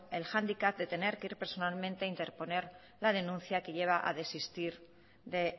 el handicap de tener que ir personalmente a interponer la denuncia que lleva a desistir de